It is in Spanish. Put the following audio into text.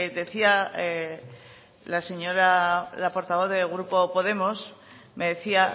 decía la señora la portavoz del grupo podemos me decía